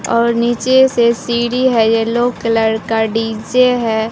और नीचे से सीढ़ी है येलो कलर का डीजे है।